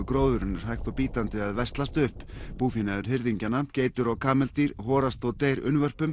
gróðurinn er hægt og bítandi að veslast upp búfénaður geitur og kameldýr horast og deyja